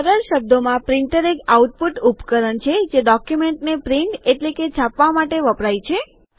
સરળ શબ્દોમાં પ્રિન્ટર એક આઉટપુટ ઉપકરણ છે જે ડોક્યુમેન્ટને પ્રિન્ટ એટલે કે છાપવા માટે વપરાય છે